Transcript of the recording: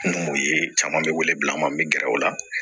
N b'o ye caman bɛ wele bila an ma n bɛ gɛrɛ o la